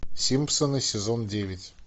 симпсоны сезон девять